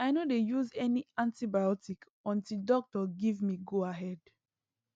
i no dey use any antibiotic until doctor give me goahead